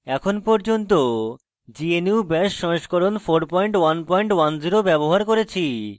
এখন পর্যন্ত gnu bash সংস্করণ 4110 ব্যবহার করেছি